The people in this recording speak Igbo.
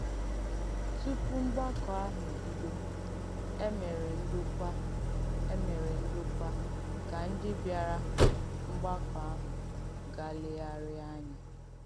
Tùpù mgbàkọ̀ àhụ̄ ebìdò, è mèrè ǹdòkwà è mèrè ǹdòkwà ka ndí bị̀arà mgbàkọ̀ àhụ̄ gaa lèghàrịà ànyà.